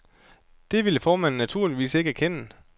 Det ville formanden naturligvis ikke erkende.